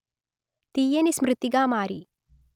తీయని స్మృతిగా మారి